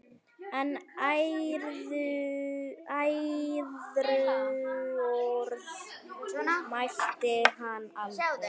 En æðruorð mælti hann aldrei.